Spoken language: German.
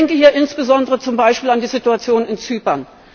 Ich denke hier insbesondere zum Beispiel an die Situation in Zypern.